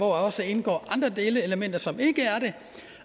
også indgår andre delelementer som ikke er det